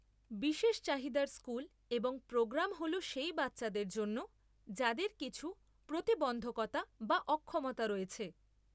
বিশেষ চাহিদার স্কুল এবং প্রোগ্রাম হল সেই বাচ্চাদের জন্য যাদের কিছু প্রতিবন্ধকতা বা অক্ষমতা রয়েছে।